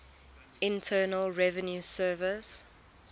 internal revenue service